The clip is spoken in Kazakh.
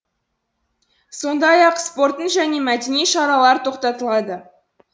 сондай ақ спорттың және мәдени шаралар тоқтатылады